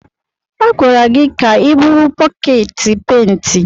A gwara gị ka i buru bọket penti!